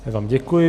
Já vám děkuji.